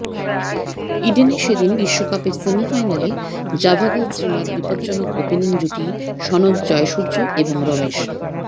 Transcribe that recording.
ইডেনে সে দিন বিশ্বকাপের সেমিফাইনালে জাভাগল শ্রীনাথ বিপজ্জনক ওপেনিং জুটি সনৎ জয়সূর্য এবং রোমেশ